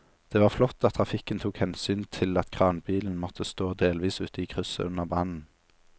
Det var flott at trafikken tok hensyn til at kranbilen måtte stå delvis ute i krysset under brannen.